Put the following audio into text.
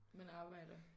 Man arbejder